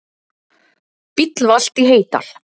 Bíll valt í Heydal